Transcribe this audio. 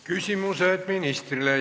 Küsimused ministrile.